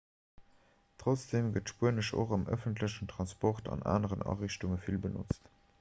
trotzdeem gëtt spuenesch och am ëffentlechen transport an aneren ariichtunge vill benotzt